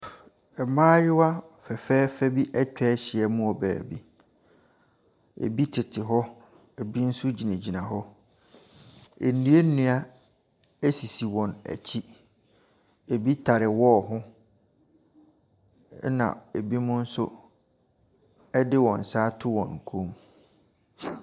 Mmayewa fɛfɛɛfɛ bi atwa ahyia mu wɔ beebi. Ɛbi tete hɔ, ɛbi nso gyinaguina hɔ. Nnuannua asisi wɔn akyi. Ɛbibi tare wall ho na ɛbinom nso de wɔn nsa ato wɔn kɔn.